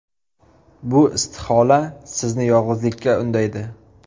Bu istihola sizni yolg‘izlikka undaydi.